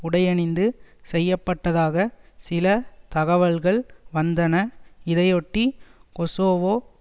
உடையணிந்து செய்ய பட்டதாக சில தகவல்கள் வந்தன இதையொட்டி கொசோவோ